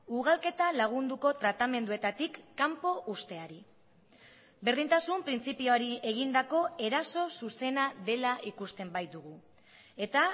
ugalketa lagunduko tratamenduetatik kanpo uzteari berdintasun printzipioari egindako eraso zuzena dela ikusten baitugu eta